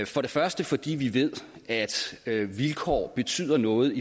for det første fordi vi ved at vilkår betyder noget